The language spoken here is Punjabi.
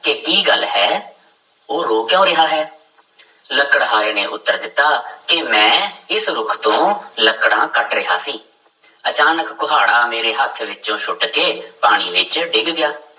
ਕਿ ਕੀ ਗੱਲ ਹੈ ਉਹ ਰੋ ਕਿਉਂ ਰਿਹਾ ਹੈ ਲੱਕੜਹਾਰੇ ਨੇ ਉੱਤਰ ਦਿੱਤਾ ਕਿ ਮੈਂ ਇਸ ਰੁੱਖ ਤੋਂ ਲੱਕੜਾਂ ਕੱਟ ਰਿਹਾ ਸੀ, ਅਚਾਨਕ ਕੁਹਾੜਾ ਮੇਰੇ ਹੱਥ ਵਿੱਚੋਂ ਸੁੱਟ ਕੇ ਪਾਣੀ ਵਿੱਚ ਡਿੱਗ ਗਿਆ।